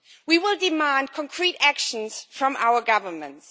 We will demand concrete actions from our governments.